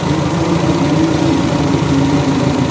ema kue phange ngaini chemli puja kori le nganle.